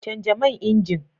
Canja man injin.